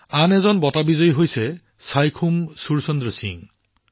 আন এজন বঁটা বিজয়ী হৈছে চাইখোম সুৰচন্দ্ৰ সিং